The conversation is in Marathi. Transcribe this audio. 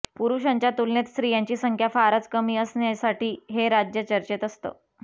पुरुषांच्या तुलनेत स्त्रियांची संख्या फारच कमी असण्यासाठी हे राज्य चर्चेत असतं